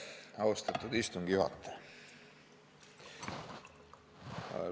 Austatud istungi juhataja!